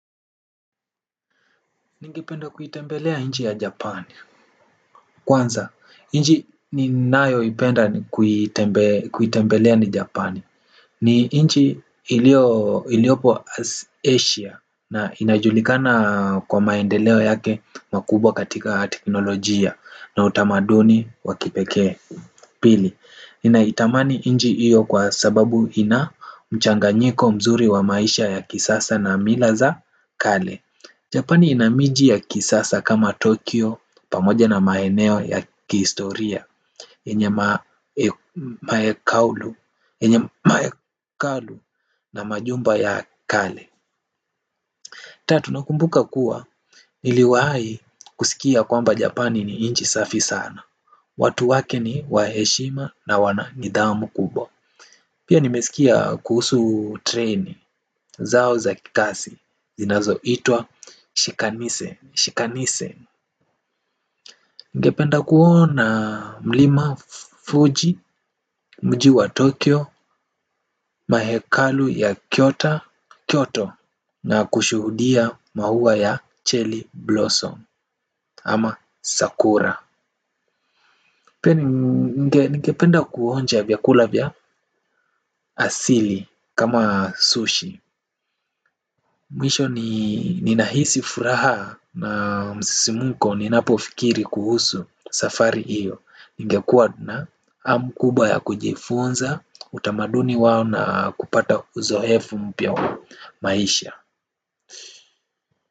Ningependa kuitembelea nchi ya japan. Kwanza, nchi ninayoipenda kuitembelea ni japani. Ni nchi iliopo Asia na inajulikana kwa maendeleo yake makubwa katika teknolojia na utamaduni wa kipekee. Pili, ninaitamani nchi hio kwa sababu ina mchanganyiko mzuri wa maisha ya kisasa na mila za kale. Japani ina miji ya kisasa kama Tokyo pamoja na maeneo ya kihistoria yenye mahekalu na majumba ya kale. Tatu nakumbuka kuwa niliwahi kusikia kwamba Japani ni nchi safi sana. Watu wake ni wa heshima na wana nidhamu kubwa. Pia nimesikia kuhusu train zao za kasi zinazo itwa Shikanise. Ningependa kuona mlima Fuji. Mji wa Tokyo, Mahekalu ya Kyoto Na kushuhudia maua ya Cherry Blossom Ama Sakura. Ningependa kuonja vyakula vya asili kama sushi. Mwisho ni nahisi furaha na msisimko ni napofikiri kuhusu safari hio. Ningekuwa na hamu kubwa ya kujifunza utamaduni wao na kupata uzoefu mpya wa maisha.